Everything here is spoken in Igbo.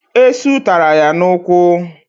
Esụ taara ya n'ụkwụ